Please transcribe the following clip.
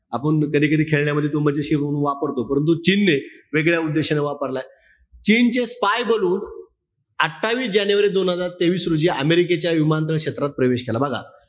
आपुन कधी-कधी खेळण्यांमध्ये तो मजेशीर वापरतो. परंतु चीनने वेगळ्या उद्देशाने वापरलाय. चीनचे spy ballon अठ्ठावीस जानेवारी दोन हजार तेवीस रोजी अमेरिकेच्या विमानतळ क्षेत्रात प्रवेश केला, बघा.